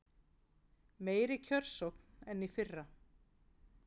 Meiri kjörsókn en í fyrra